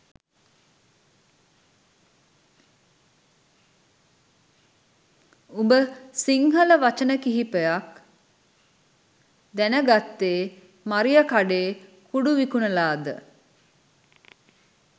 උඹ සිංහල වචන කීපයක් දැනගත්තෙ මරියකඩේ කුඩු විකුණලද?